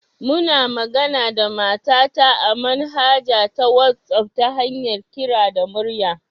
Muna managa da mata ta a manhaja ta wasaf ta hanyar kira da murya